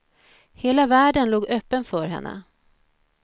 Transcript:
Hela världen låg öppen för henne.